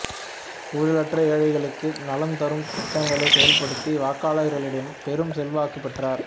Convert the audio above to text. ஊழலற்ற ஏழைகளுக்கு நலம்தரும் திட்டங்களைச் செயல்படுத்தி வாக்காளர்களிடம் பெரும் செல்வாக்கு பெற்றார்